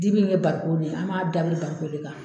Dibi in ye bariko de ye, an b'a dabiri bariko de kan.